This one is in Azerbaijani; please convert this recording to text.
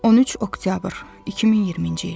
13 oktyabr 2020-ci il.